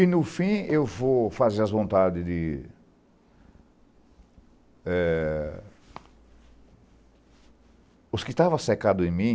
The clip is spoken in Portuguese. E, no fim, eu vou fazer as vontades de eh... Os que estavam cerdados em mim,